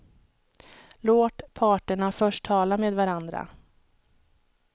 Låt parterna först tala med varandra.